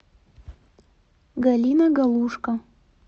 галина галушко